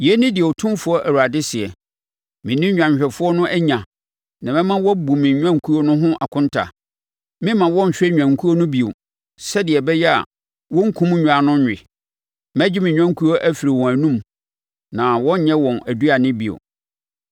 Yei ne deɛ Otumfoɔ Awurade seɛ: Me ne nnwanhwɛfoɔ no anya na mɛma wɔabu me nnwankuo no ho akonta. Memma wɔnhwɛ nnwankuo no bio sɛdeɛ ɛbɛyɛ a wɔrenkum nnwan no nnwe; mɛgye me nnwankuo afiri wɔn anom na wɔrenyɛ wɔn aduane bio.